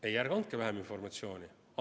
Ei, ärge andke vähem informatsiooni!